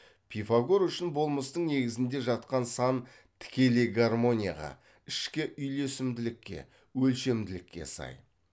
пифагор үшін болмыстың негізінде жатқан сан тікелей гармонияға ішкі үйлесімділікке өлшемділікке сай